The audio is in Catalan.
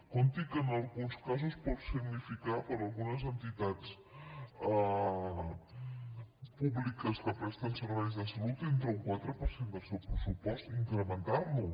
compti que en alguns casos pot significar per a algunes entitats públiques que presten serveis de salut un quatre per cent del seu pressupost incrementar lo